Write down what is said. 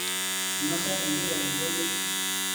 Inosa enkiteng inkujit